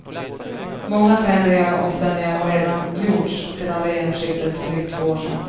Många förändringar och omställningar har redan gjorts sedan regeringsskiftet för drygt två år sedan.